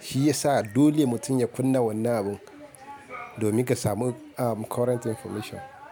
Shiyasa dole mutum ya kunna wannan abun, domin ka samu aa current information.